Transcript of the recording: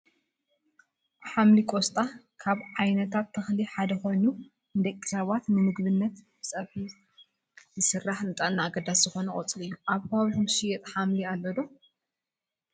ሓምሊ ቆስጣ ካብ ዓይነታት ተክሊ ሓደ ኮይኑ፣ ንደቂ ሰባት ንምግብነት ብፀብሒ ዝስራሕ ንጥዕና ኣገዳሲ ዝኮነ ቆፅሊ እዩ። ኣብ ከባቢኩም ዝሽየጥ ሓምሊ ኣሎ ዶ?